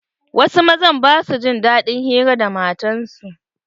Wasu mazan ba sua jin daɗin hira da matan su.